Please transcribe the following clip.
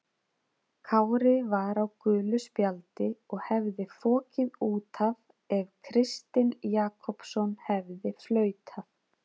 Kári var á gulu spjaldi og hefði fokið út af ef Kristinn Jakobsson hefði flautað.